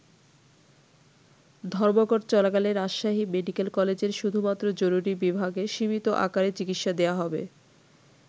ধর্মঘট চলাকালে রাজশাহী মেডিকেল কলেজের শুধুমাত্র জরুরী বিভাগে সীমিত আকারে চিকিৎসা দেয়া হবে।